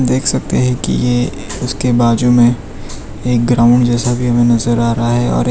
देख सकते हैं कि ये उसके बाजू में एक ग्राउंड जैसा भी हमे नजर आ रहा है और एक --